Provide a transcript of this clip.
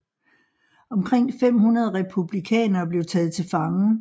Omkring 500 republikanere blev taget til fange